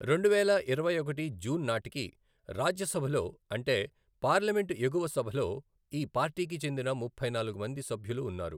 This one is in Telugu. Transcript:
రెండువేల ఇరవైఒకటి జూన్ నాటికి, రాజ్యసభలో అంటే పార్లమెంటు ఎగువ సభలో ఈ పార్టీకి చెందిన ముప్పై నాలుగు మంది సభ్యులు ఉన్నారు.